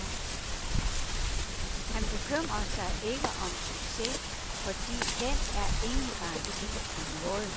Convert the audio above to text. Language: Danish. Han bekymrer sig ikke om succes, fordi den er ingen garanti for noget.